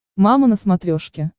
мама на смотрешке